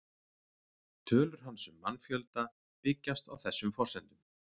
Tölur hans um mannfjölda byggjast á þessum forsendum.